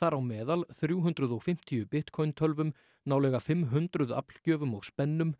þar á meðal þrjú hundruð og fimmtíu Bitcoin tölvum nálega fimm hundruð aflgjöfum og spennum